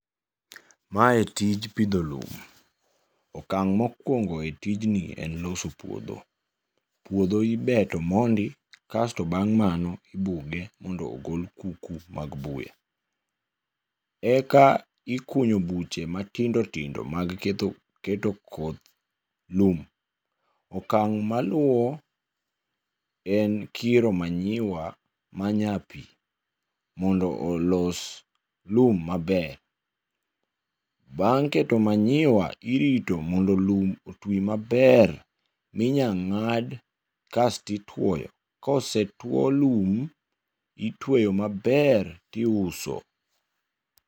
Mae tij pidho lum, okang' mokuongo e tijni en loso puodho. Puodho ibeto mondi kasto bang' mano ibuge mondo ogol kuku mag buya, eka ikunyo buche matindo tindo mag ketho keto koth lum. Okang' ma luwo en kiro manyiwa ma nyapi mondo olos lum maber. Bang' keto manyiwa irito mondo lum otwi maber, minya ng'ad kastituoyo. Kosetuo lum, itweyo maber tiuso.